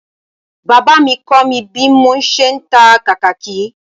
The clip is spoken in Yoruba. Bàbá mi kọ́ mi bí mo ṣe ń ta kàkàkí